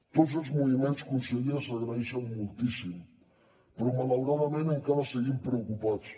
tots els moviments conseller s’agraeixen moltíssim però malauradament encara seguim preocupats